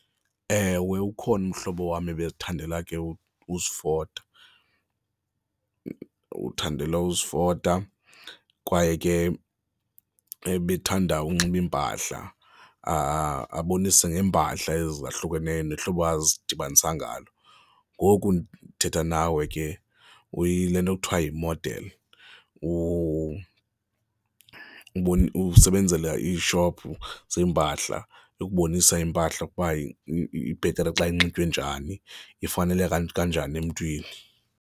Ewe, ukhona umhlobo wam ebezithandela ke uzifota. Uthandela uzitofa kwaye ke ebethanda unxiba iimpahla abonise ngeempahla ezi zahlukeneyo nehlobo azidibanisa ngalo. Ngoku ndithetha nawe ke uyile nto kuthiwa yi-model, usebenzela iishophu zeempahla, ukubonisa iimpahla ukuba ibhetere xa inxitywe njani, ifaneleka kanjani emntwini.